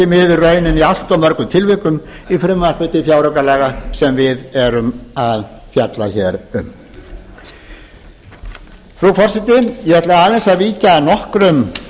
miður raunin í allt of mörgum tilvikum í frumvarpi til fjáraukalaga sem við erum að fjalla hér um frú forseti ég ætla aðeins að víkja að nokkrum